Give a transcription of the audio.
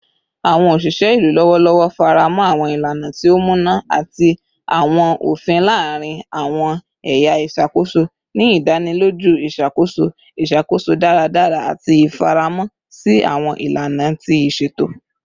Awọn oṣiṣẹ ilu lọwọlọwọ faramọ awọn ilana ti o muna ati awọn ofin laarin awọn ẹya iṣakoso, ni idaniloju iṣakoso iṣakoso daradara ati ifaramọ si awọn ilana ti iṣeto.